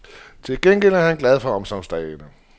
Til gengæld er han glad for omsorgsdagene.